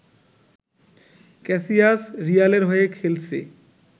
Cassius রিয়ালের হয়ে খেলছে